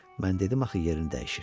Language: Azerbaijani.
Mən dedim axı yerini dəyişir.